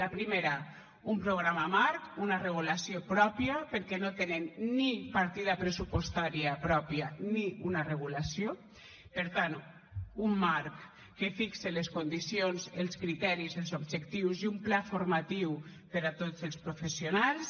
la primera un programa marc una regulació pròpia perquè no tenen ni partida pressupostària pròpia ni una regulació per tant un marc que fixe les condicions els criteris els objectius i un pla formatiu per a tots els professionals